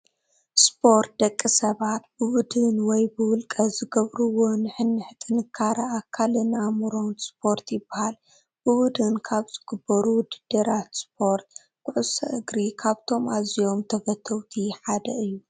ስፖርት-ደቂ ሰባት ብቡድን ወይ ብውልቀ ዝገብርዎ ንሕንሕ ጥንካረ ኣካልን ኣእምሮን ስፖርት ይበሃል፡፡ ብቡድን ካብ ዝግበሩ ውድድራት ስፖርት ኩዕሶ እግሪ ካብቶም ኣዝዮም ተፈተውቲ ሓየ እዩ፡፡